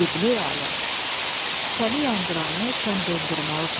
Qibleyi-aləm, səni yandıranı sən dondurmalısan.